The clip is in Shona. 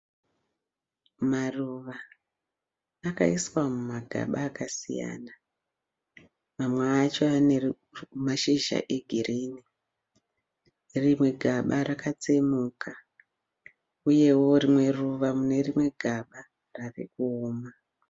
Maruva akaiswa mumagaba akasiyana, mamwe acho ane mashizha egirini rimwe gaba rakatsemuka, uyewo rimwe ruva mune rimwe gaba rave kuoma.